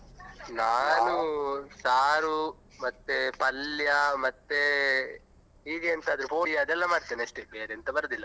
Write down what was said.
ನಾನು ಸಾರು ಮತ್ತೆ ಪಲ್ಯ ಮತ್ತೆ ಹೀಗೆ ಎಂತಾದ್ರೂ poori ಅದೆಲ್ಲ ಮಾಡ್ತೇನೆ ಅಷ್ಟೇ ಬೇರೆ ಎಂತ ಬರುದಿಲ್ಲ.